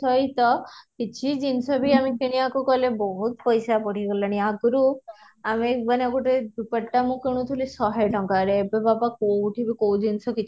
ସହିତ କିଛି ଜିନିଷ ବି ଆମେ କିଣିବାକୁ ଗଲେ ବହୁତ ପଇସା ବଢିଗଲାଣି ଆଗରୁ ଆମେ ମାନେ ଗୋଟେ ଦୁପଟା ମୁଁ କିଣୁଥିଲି ଶହେ ଟଙ୍କାରେ ଏବେ ବାବା କୋଉଠି ବି କୋଉ ଜିନିଷ